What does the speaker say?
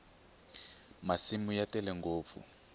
masimu ya tele ngopfu